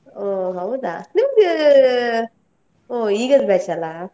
ಹೊ ಹೌದಾ? ನಿಮ್ದ್, ಹೊ ಈಗದ್ batch ಅಲ್ಲಾ?